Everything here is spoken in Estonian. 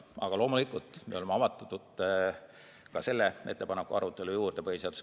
Aga loomulikult me oleme avatud kõigile, kes tahavad põhiseaduskomisjoni selle ettepaneku arutelu juurde tulla.